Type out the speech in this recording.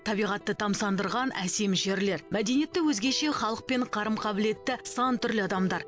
табиғатты тамсандырған әсем жерлер мәдениеті өзгеше халық пен қарым қабілеті сан түрлі адамдар